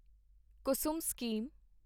Kusum scheme